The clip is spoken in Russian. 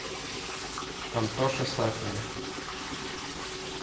антоше сафину